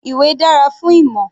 Ìwé dára fún ìmọ̀.